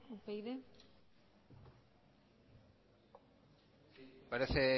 upyd parece